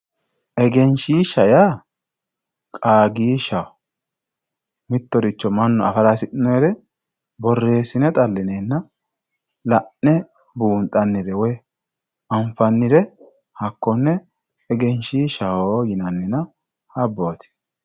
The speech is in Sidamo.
Egenshiishsha yaa qaagishshaho mittoricho mannu affara hasii'noniricho borreesine xalinenna la'ne buunxanire woyi anfannire hakkone egenshiishshaho yinannina habboti.